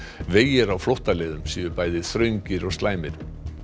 vegir á flóttaleiðum séu bæði þröngir og slæmir